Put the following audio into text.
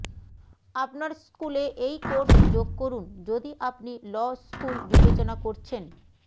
আপনার স্কুলে এই কোর্স যোগ করুন যদি আপনি ল স্কুল বিবেচনা করছেন